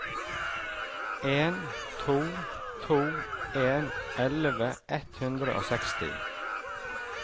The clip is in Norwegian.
en to to en elleve ett hundre og seksti